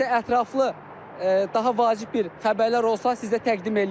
Nəsə ətraflı daha vacib bir xəbərlər olsa, sizə təqdim eləyəcəyik.